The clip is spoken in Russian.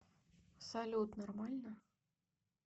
салют нормально